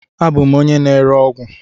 Abụ m onye na-ere ọgwụ..